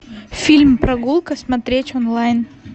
фильм прогулка смотреть онлайн